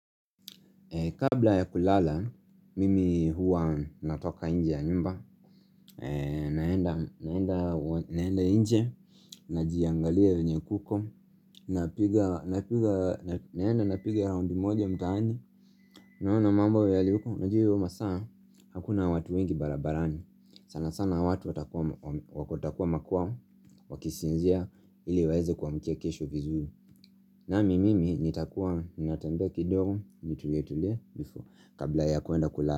Kabla ya kulala, mimi huwa natoka nje ya nyumba, naenda nje, najiangalia venye kuko, Napiga naenda napiga round moja mtaani, naona mambo yalivyo, najua hio masaa, hakuna watu wengi barabarani, sana sana watu wakotakuwa makuwa, wakisinzia ili waeze kuamkia kesho vizuri. Nami mimi nitakuwa natembea kidogo nitulietulie kabla ya kwenda kulala.